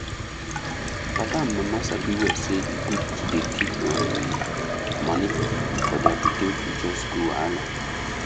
papa and mama sabi well say e good to dey keep um money for their pikin future school wahala